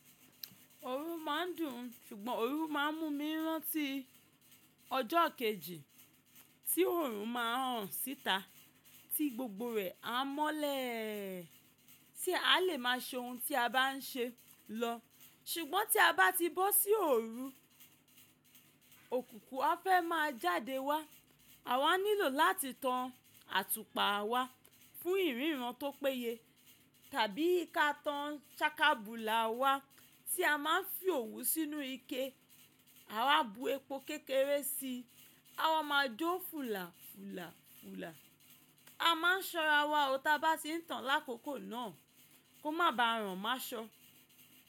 Òòru máa ń dùn, ṣùgbọ́n òòru máa ń mú mi rántí ọjọ́ kejì tí òòrun máa ń ràn síta tí gbogbo rẹ̀ a mọ́lẹ̀, tí a lè máa ṣe ohun tí a bá ń ṣe lọ. Ṣùgbọ́n tí a bá ti bọ́ sí òòru, òkùnkùn á fẹ́ máa jáde wá. Àwa nílò láti tan àtùpà wá fún ìríran tó péye tàbí ká tan ṣákábùlà wá tí a máa ń fi òwú sínú ike. A wá bu epo kékeré si, awa máa jó fùlà fùlà fùlà. A máa ṣọ́ra wa o tá bá ti ń tán lákòókò náà kó má ba ọ̀rọ̀ má ṣọ́.